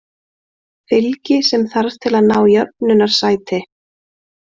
Fylgi sem þarf til að ná í jöfnunarsæti